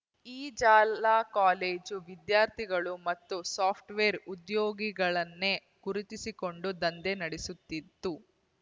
ಈ ಜಾಲ ಕಾಲೇಜು ವಿದ್ಯಾರ್ಥಿಗಳು ಮತ್ತು ಸಾಫ್ಟ್‌ವೇರ್ ಉದ್ಯೋಗಿಗಳನ್ನೇ ಗುರುತಿಸಿಕೊಂಡು ದಂಧೆ ನಡೆಸುತ್ತಿತ್ತು